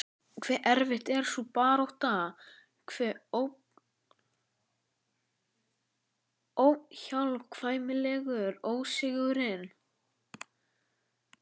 Hve erfið er sú barátta, hve óhjákvæmilegur ósigurinn.